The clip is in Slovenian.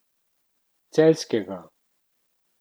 Celjskega.